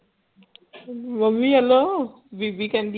mummy ਵੱਲੋਂ ਬੀਬੀ ਕਹਿੰਦੀ